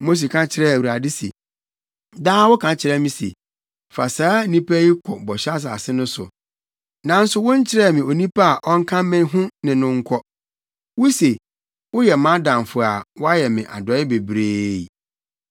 Mose ka kyerɛɛ Awurade se, “Daa woka kyerɛ me se, ‘Fa saa nnipa yi kɔ bɔhyɛ asase no so, nanso wonkyerɛɛ me onipa a ɔnka me ho ne me nkɔ. Wuse woyɛ mʼadamfo a woayɛ me adɔe bebree.’